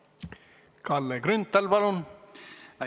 Kalle Grünthal, palun!